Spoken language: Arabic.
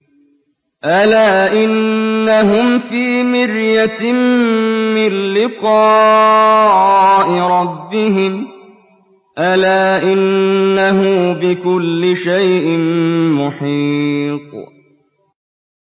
أَلَا إِنَّهُمْ فِي مِرْيَةٍ مِّن لِّقَاءِ رَبِّهِمْ ۗ أَلَا إِنَّهُ بِكُلِّ شَيْءٍ مُّحِيطٌ